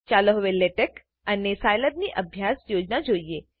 ચાલો હવે લેટેક્સ લેટેકઅને Scilabસાઈલેબ ની અભ્યાસ યોજના જોઈએ